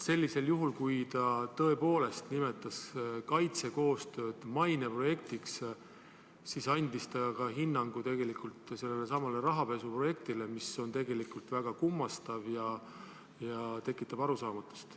Sellisel juhul, kui ta tõepoolest nimetas kaitsekoostööd maineprojektiks, andis ta ka hinnangu sellelesamale rahapesuprojektile, mis on tegelikult väga kummastav ja tekitab arusaamatust.